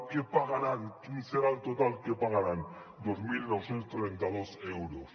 què pagaran quin serà el total que pagaran dos mil nou cents i trenta dos euros